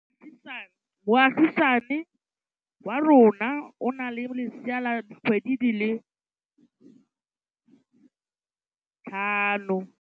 Moagisane wa rona o na le lesea la dikgwedi tse tlhano.